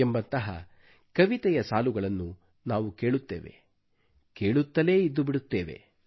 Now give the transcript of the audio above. ಎಂಬಂತಹ ಕವಿತೆಯ ಸಾಲುಗಳನ್ನು ನಾವು ಕೇಳುತ್ತೇವೆ ಕೇಳುತ್ತಲೇ ಇದ್ದುಬಿಡುತ್ತೇವೆ